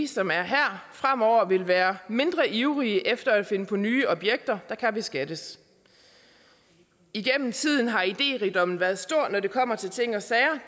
som er her fremover vil være mindre ivrige efter at finde på nye objekter der kan beskattes igennem tiden har idérigdommen været stor når det kommer til ting og sager